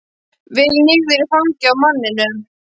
Veltur niður í fangið á manninum.